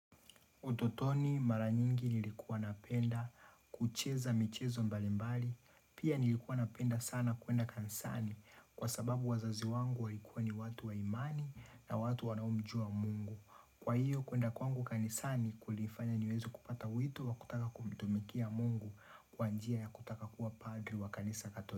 Utotoni mara nyingi nilikuwa napenda kucheza michezo mbalimbali. Pia nilikuwa napenda sana kuenda kanisani kwa sababu wazazi wangu walikuwa ni watu wa imani na watu wanaomjua mungu. Kwa hiyo kuenda kwangu kanisani kulifanya niweze kupata wito wa kutaka kumtumikia mungu kwa njia ya kutaka kuwa padri wa kanisa ya katholiki.